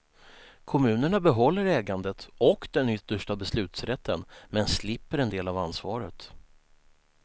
Kommunerna behåller ägandet och den yttersta beslutsrätten, men slipper en del av ansvaret.